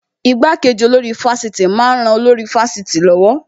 Ìgbàkeji olórí ifásitì máa ń ran olórí ifásitì lọ́wọ́